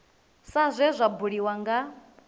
sa zwe zwa buliwa nga